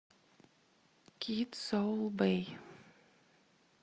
кид сол бэй